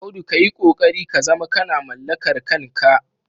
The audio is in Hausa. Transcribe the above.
Audu ka yi ƙoƙari ka zama kana mallakar kanka.